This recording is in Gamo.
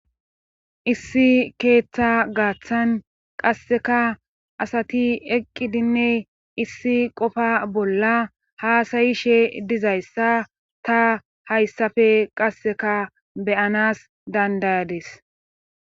Issi keeththa gaaththan qasseka asati eqqidinne issi qofa bolla haasayishe dizayssa ta hayssafe qasseka beyanas dandayades